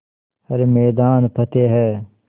हर मैदान फ़तेह